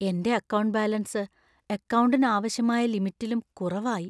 എന്‍റെ account balance അക്കൗണ്ടിന് ആവശ്യമായ ലിമിറ്റിലും കുറവായി.